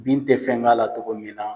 Bin tɛ fɛn k'a la togo min na.